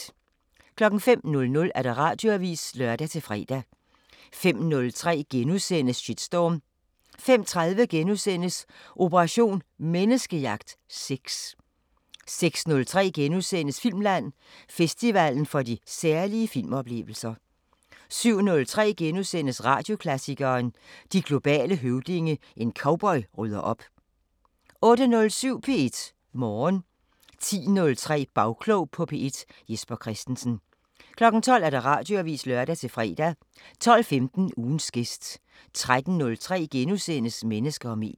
05:00: Radioavisen (lør-fre) 05:03: Shitstorm * 05:30: Operation Menneskejagt: Sex * 06:03: Filmland: Festivalen for de særlige filmoplevelser * 07:03: Radioklassikeren: De globale høvdinge – En cowboy rydder op * 08:07: P1 Morgen 10:03: Bagklog på P1: Jesper Christensen 12:00: Radioavisen (lør-fre) 12:15: Ugens gæst 13:03: Mennesker og medier *